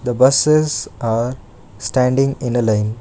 the buses are standing in a line.